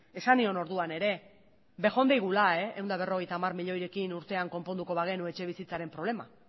esan nion orduan ere bejon daigula ehun eta berrogeita hamar miliorekin urtean konponduko bagenu etxebizitzaren problema